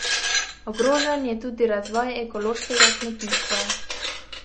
Ogrožen je tudi razvoj ekološkega kmetijstva.